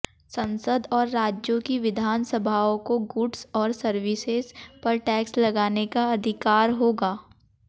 संसद और राज्यों की विधानसभाओं को गुड्स और सर्विसेज पर टैक्स लगाने का अधिकार होगा